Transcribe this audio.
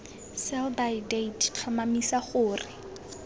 sell by date tlhomamisa gore